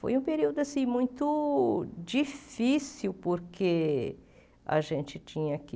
Foi um período muito difícil, porque a gente tinha que...